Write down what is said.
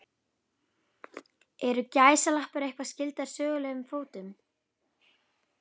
Eru gæsalappir eitthvað skyldar sögulegum fótum?